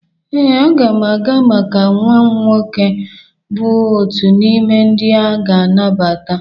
Ee, aga m aga maka nwam nwoke bụ otu n'ime ndị aga anabata.